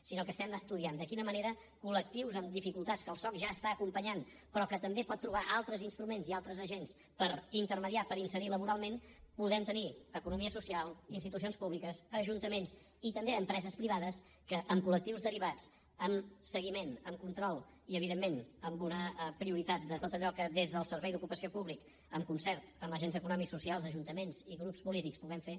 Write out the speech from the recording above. sinó que estem estudiant de quina manera amb col·lectius amb dificultats que el soc ja està acompanyant però que també pot trobar altres instruments i altres agents per intermediar per inserir laboralment podem tenir economia social institucions públiques ajuntaments i també empreses privades que amb colamb seguiment amb control i evidentment amb una prioritat de tot allò que des del servei d’ocupació públic en concert amb agents econòmics socials ajuntaments i grups polítics puguem fer